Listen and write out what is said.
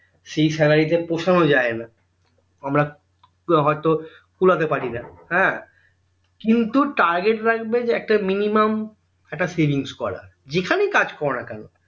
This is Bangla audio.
সেই salary তে পোষানো যাই না আমরা হয়তো কুলাতে পারি না হ্যাঁ কিন্তু target রাখবে যে একটা minimum একটা savings করার যেখানেই কাজ করো না কেন